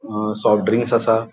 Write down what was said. अ soft drinks आसा.